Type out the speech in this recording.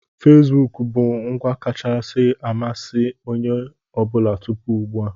Fesibuku bụ ngwa kacha amasị onye ọ bụla tupu ugbua.